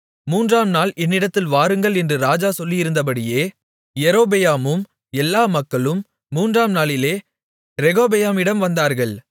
மூன்றாம் நாள் என்னிடத்தில் வாருங்கள் என்று ராஜா சொல்லியிருந்தபடியே யெரொபெயாமும் எல்லா மக்களும் மூன்றாம் நாளிலே ரெகொபெயாமிடம் வந்தார்கள்